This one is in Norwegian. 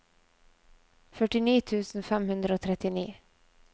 førtini tusen fem hundre og trettini